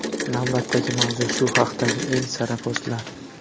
Navbatdagi mavzu shu haqdagi eng sara postlar.